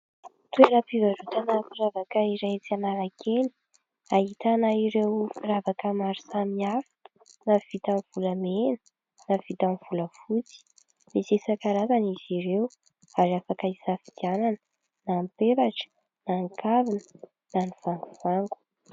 Toerampivarotana firavaka iray etsy Analakely, ahitana ireo firavaka maro samihafa ; na vita amin'ny volamena, na vita amin'ny volafotsy. Misy isan-karazany izy ireo ary afaka hisafidianana ; na ny peratra, na ny kavina, na ny vangovango.